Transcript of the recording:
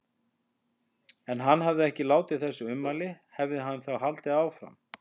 Ef hann hefði ekki látið þessi ummæli, hefði hann þá haldið áfram?